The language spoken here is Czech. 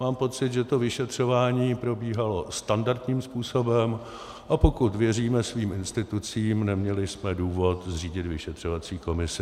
Mám pocit, že to vyšetřování probíhalo standardním způsobem, a pokud věříme svým institucím, neměli jsme důvod zřídit vyšetřovací komisi.